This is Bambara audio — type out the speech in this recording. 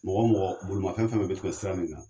Mɔgɔ ɔ mɔgɔ bolomafɛn fɛn bɛ kɛ sira in kan.